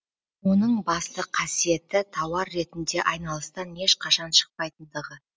оның басты қасиеті тауар ретінде айналыстан ешқашан шықпайтындығы